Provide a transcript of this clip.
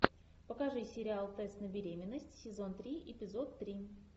покажи сериал тест на беременность сезон три эпизод три